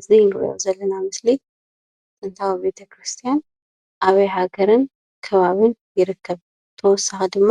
እዚ እንርእዮ ዘለና ምስሊ ጥንታዊ ቤተ-ክርስትያን ኣበይ ሃገርን ከባቢን ይርከብ? ብተወሳኪ ድማ